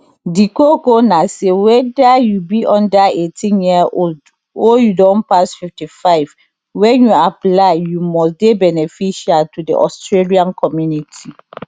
di koko na say weda you be under 18yearold or you don pass 55 wen you apply you must dey beneficial to di australian community